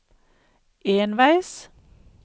enveis